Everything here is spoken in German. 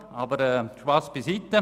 Aber Spass beiseite.